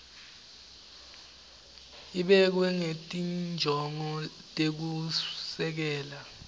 ibekwe ngetinjongo tekusekela